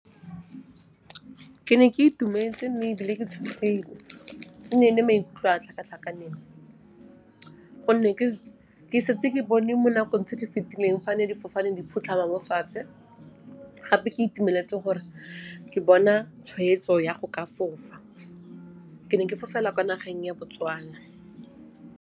Ke ne ke itumetse mme ebile ke tshogile. E ne e le maikutlo a tlhakatlhakaneng gonne ke setse ke bone mo nakong tse di fetileng fa ne difofane di ne di phutlhama mo fatshe, gape ke itumeletse gore ke bona tshweetso ya go ka fofa. Ke ne ke fofela kwa nageng ya Botswana.